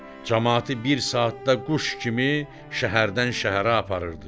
Camaatı bir saatda quş kimi şəhərdən şəhərə aparırdı.